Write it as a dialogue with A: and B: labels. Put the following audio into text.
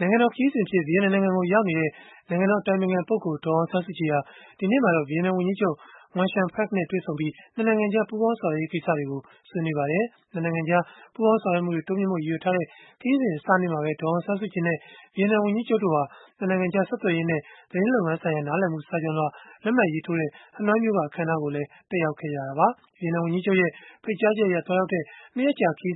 A: နိုင်ငံတော် ခရီးစဉ်အဖြစ် ဗီယက်နမ်နိုင်ငံကို ရောက်နေတဲ့ နိုင်ငံတော် အတိုင်ပင်ခံပုဂ္ဂိုလ် ဒေါ်အောင်ဆန်းစုကြည် ဟာ ဒီနေ့မှာတော့ ဗီယက်နမ် ဝန်ကြီးချုပ် Nguyen Xuan Phuc နဲ့ တွေ့ဆုံပြီး ၂ နိုင်ငံကြား ပူးပေါင်းဆောင်ရွက်ရေး ကိစ္စတွေကို ဆွေးနွေးခဲ့ကြပါတယ်။ ၂ နိုင်ငံကြား ပူးပေါင်းဆောင်ရွက်မှုတွေ တိုးမြှင့်ဖို့ ရည်ရွယ်ထားတဲ့ ခရီးစဉ်အစနေ့မှာပဲ ဒေါ်အောင်ဆန်းစုကြည်နဲ့ ဗီယက်နမ်ဝန်ကြီးချုပ်တို့ဟာ ဟနွိုင်မြို့မှာ ၂ နိုင်ငံကြား တယ်လီဖုန်းဆက်သွယ်ရေးနဲ့ သတင်းလုပ်ငန်းဆိုင်ရာ နားလည်မှု စာချွန်လွှာ လက်မှတ်ရေးထိုးပွဲကိုလည်း တက်ရောက်ခဲ့ကြတာပါ။ ဗီယက်နမ် ဝန်ကြီးချုပ် Nguyen Xuan Phuc ရဲ့ ဖိတ်ကြားချက်အရ ရောက်ရှိနေစဉ် ၂ နိုင်ငံ ခေါ